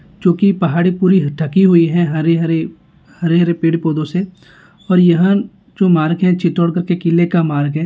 जो की पहाड़े पूरी ढकी हुए हैं हरे हरे हरे हरे पेड़ पौधों से और यहाँ जो मार्ग हैं चित्तोडगढ़ के किले का मार्ग हैं।